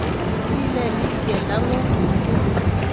Kilelit keldo ngung mising